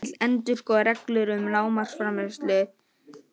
Vill endurskoða reglur um lágmarksframfærslu